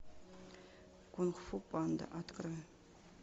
кунг фу панда открой